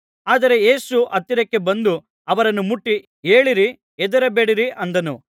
ಆದರೆ ಯೇಸು ಹತ್ತಿರಕ್ಕೆ ಬಂದು ಅವರನ್ನು ಮುಟ್ಟಿ ಏಳಿರಿ ಹೆದರಬೇಡಿರಿ ಅಂದನು